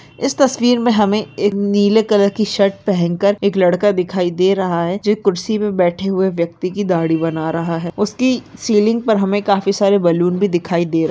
इस तस्वीर में हमें एक नीले कलर की शर्ट पहन कर एक लड़का दिखाई दे रहा है जो कुर्सी पे बेठे हुए व्यक्ति की दाढ़ी बना रहा है उसकी सीलिंग पर हमें कई सारे बैलून भी दिखाई दे रहे --